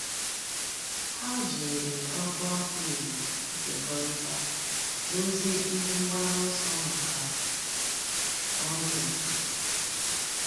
Há jìrì Ọ̀gụ́àfọ̀ Ị̀gbò nkekọrịta dòzìé ihe mgbaru ọsọ màkà ọ́rụ́ otu.